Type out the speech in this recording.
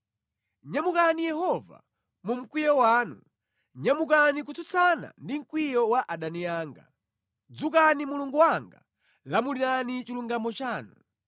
Nyamukani Yehova, mu mkwiyo wanu; nyamukani kutsutsana ndi mkwiyo wa adani anga. Dzukani Mulungu wanga, lamulirani chilungamo chanu.